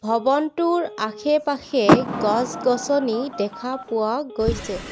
ভৱনটোৰ আশে পাশে গছ গছনি দেখা পোৱা গৈছে।